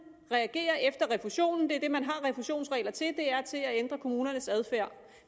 reagerer efter refusionen det er det man har refusionsregler til og det er til at ændre kommunernes adfærd